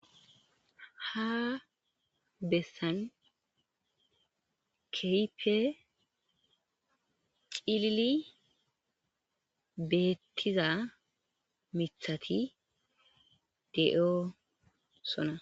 ha bessan kehipe cilili beettiza mithati de7o sona